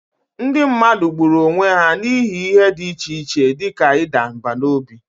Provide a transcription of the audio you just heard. Ndị mmadụ gburu onwe ha n'ihi ihe dị iche iche dị ka ịda mbà n'obi.